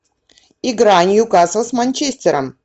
игра ньюкасл с манчестером